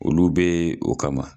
Olu bɛ o kama.